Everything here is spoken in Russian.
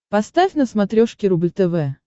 поставь на смотрешке рубль тв